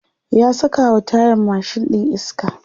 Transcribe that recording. ya sakawa tayan mashin ɗin iska